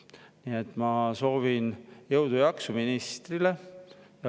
Nii et ma soovin jõudu ja jaksu ministrile.